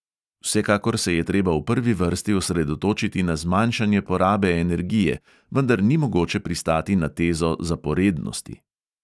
Vsekakor se je treba v prvi vrsti osredotočiti na zmanjšanje porabe energije, vendar ni mogoče pristati na tezo zaporednosti.